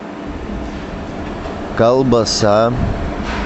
колбаса